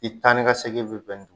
I tani ka segin bi bɛn n